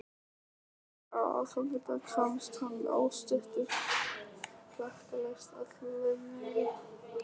Á aðfangadag komst hann óstuddur klakklaust alla leið niður í